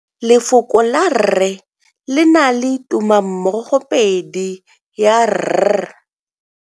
Lefoko la rre le na le tumammogopedi ya, r.